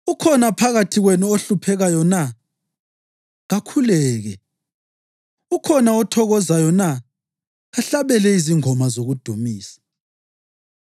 Ukhona phakathi kwenu ohluphekayo na? Kakhuleke. Ukhona othokozayo na? Kahlabele izingoma zokudumisa.